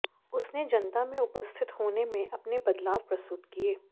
उसने जनता में उपस्थित होने में अपने बदलाव प्रस्तुत किए